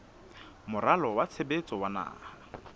moralo wa tshebetso wa naha